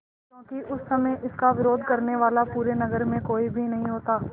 क्योंकि उस समय इसका विरोध करने वाला पूरे नगर में कोई भी नहीं होता